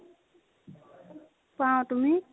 পাও, তুমি?